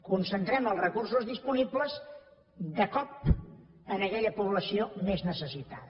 concentrem els recursos disponibles de cop en aquella població més necessitada